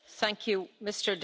Elnök Asszony!